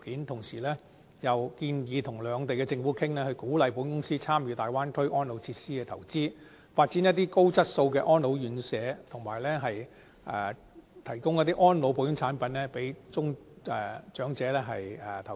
同時建議與兩地政府商討，鼓勵保險公司參與大灣區安老設施的投資，發展高質素的安老院舍，以及提供安老保險產品讓長者投保。